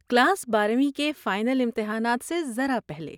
class بارویں کے final امتحانات سے ذرا پہلے